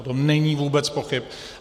O tom není vůbec pochyb.